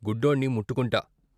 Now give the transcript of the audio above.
గుడ్డోణ్ణి ముట్టుకుంట.